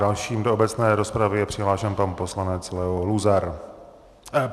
Dalším do obecné rozpravy je přihlášen pan poslanec Leo Luzar.